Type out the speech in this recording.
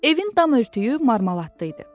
Evin dam örtüyü marmeladı idi.